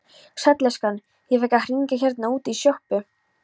Sæll elskan, ég fékk að hringja hérna útí sjoppu.